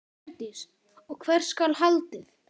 Hjördís: Og hvert skal haldið?